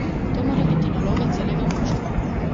To mora biti naloga celega moštva.